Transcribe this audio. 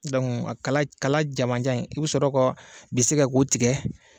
Dɔnku a kala kala jamanjanni i be sɔrɔ ka bese kɛ k'o tigɛ